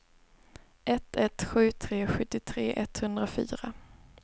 ett ett sju tre sjuttiotre etthundrafyra